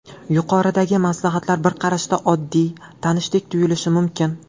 Yuqoridagi maslahatlar bir qarashda, oddiy, tanishdek tuyulishi mumkin.